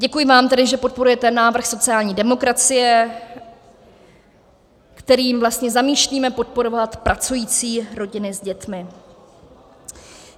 Děkuji vám tedy, že podporujete návrh sociální demokracie, kterým vlastně zamýšlíme podporovat pracující rodiny s dětmi.